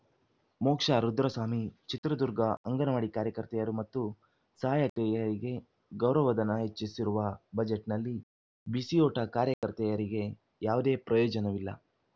ಮೋಕ್ಷಾ ರುದ್ರಸ್ವಾಮಿ ಚಿತ್ರದುರ್ಗ ಅಂಗನವಾಡಿ ಕಾರ್ಯಕರ್ತೆಯರು ಮತ್ತು ಸಹಾಯಕಿಯರಿಗೆ ಗೌರವಧನ ಹೆಚ್ಚಿಸಿರುವ ಬಜೆಟ್‌ನಲ್ಲಿ ಬಿಸಿಯೂಟ ಕಾರ್ಯಕರ್ತೆಯರಿಗೆ ಯಾವುದೇ ಪ್ರಯೋಜನವಿಲ್ಲ